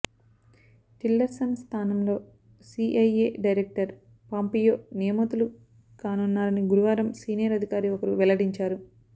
Tillerson స్థానంలో CIA director Pompeo నియమితులు కానున్నారని గురువారం సీనియర్ అధికారి ఒకరు వెల్లడించారు